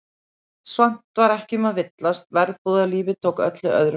Samt var ekki um að villast, verbúðalífið tók öllu öðru fram.